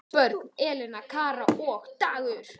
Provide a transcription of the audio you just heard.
Börn: Elena, Kara og Dagur.